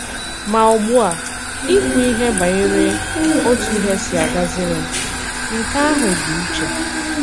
Mà ùgbu a, ìkwù òkwù banyere òtù ihe s̀ì àgàzìrì m — nke àhụ dị̀ ìchè.